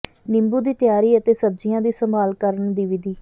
ਨਿੰਬੂ ਦੀ ਤਿਆਰੀ ਅਤੇ ਸਬਜ਼ੀਆਂ ਦੀ ਸੰਭਾਲ ਕਰਨ ਦੀ ਵਿਧੀ